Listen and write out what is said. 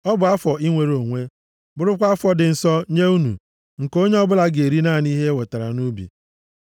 Ọ bụ afọ inwere onwe, bụrụkwa afọ dị nsọ nye unu, nke onye ọbụla ga-eri naanị ihe e wetara nʼubi.